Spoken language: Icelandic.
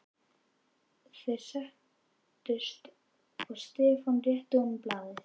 Þeir settust og Stefán rétti honum blaðið.